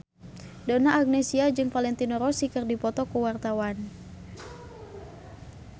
Donna Agnesia jeung Valentino Rossi keur dipoto ku wartawan